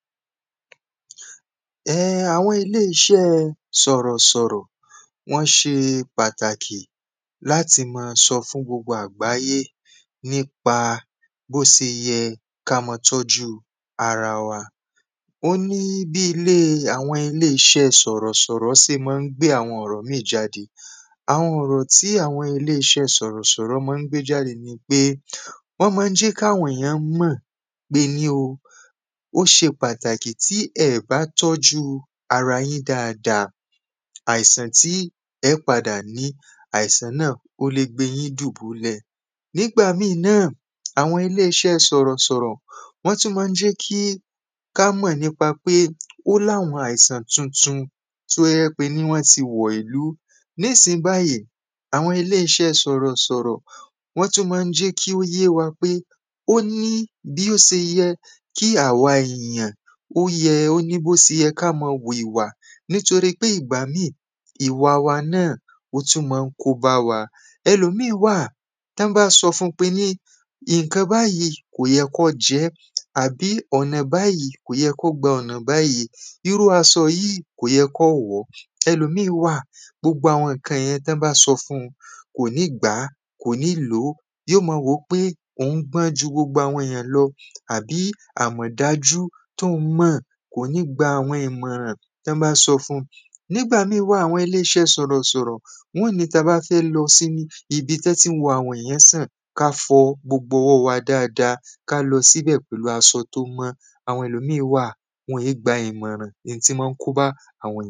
ẹh àwọn ilé iṣẹ́ ẹ sọ̀rọ̀ sọ̀rọ̀ wọn ṣe pàtàkì láti ma sọ fún gbogbo àgbáyé nípa bó ṣe yẹ ká ma tọ́jú ara wa ó ní bí ilé àwọn ilé iṣẹ́ sọ̀rọ̀ sọ̀rọ̀ ṣe máa ń gbé àwọn ọ̀rọ̀ míì jáde àwọn ọ̀rọ̀ tí àwọn ilé iṣẹ́ sọ̀rọ̀ sọ̀rọ̀ máa ń gbé jáde ni pé wọ́n máa ń jẹ́ kí àwọn ènìyàn mọ̀ pé ní o ó ṣe pàtàkì tí ẹẹ̀ bá tọ́jú ara yín dáadáa àìsàn tí ẹẹ́ padà ní àìsàn náà ó le gbe yín dùbúlẹ̀ nígbà míì náà àwọn ilé iṣẹ́ sọ̀rọ̀sọ̀rọ̀ wọ́n tún máa ń jẹ́ kí ká mọ̀ nípa pé ó láwọn àìsàn tuntun tó jẹ́ pé ní wọn tí wọ ìlú ní ìsìnyí báyìí, àwọn ilé iṣẹ́ sọ̀rọ̀ sọ̀rọ̀ wọ́n tún máa ń jẹ́ kí ó yé wa pé ó ní bí ó ṣe yẹ kí àwa ènìyàn ó yẹ ó ní bó ṣe yẹ ká ṣe máa wu ìwà nítorí pé ìgbà míì ìwà wa náà ó tún máa ń kó bá wa ẹlòmíì wà tán bá sọ fun pé ǹkan báyìí kò yẹ kó jẹẹ́ tàbí ọ̀nà báyìí kò yẹ kó gba ọ̀nà báyìí irú aṣọ yíì kò yẹ kó wọ̀ọ́ ẹlòmíì wà gbogbo àwọn ǹkan yẹn tí wọ́n bá sọ fun kò ní gbàá kò ní lòó yóò máa wòó pé òun gbọ́n ju gbogbo àwọn ènìyàn lọ àbí àmọ̀ dájú tóhun mọ̀ kò ní gba àwọn ìmọ̀ràn tí wọ́n bá sọ fun nígbà míì wà àwọn ilé iṣẹ́ sọ̀rọ̀ sọ̀rọ̀ wọn óò ní tabá fẹ́ lọ sí ibi tí wọ́n ti ń wo àwọn ènìyàn sàn ká fọ gbogbo ọwọ́ wa dáadáa ká lọ síbẹ̀ pẹ̀lú aṣọ tó mọ́ àwọn ẹlòmíì wà wọn é gba ìmọ̀ràn, in tó máa ń kóbá àwọn.